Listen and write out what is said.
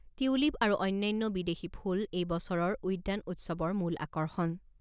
Tulip আৰু অন্যান্য বিদেশী ফুল এই বছৰৰ উদ্যান উৎসৱৰ মূল আকৰ্ষণ।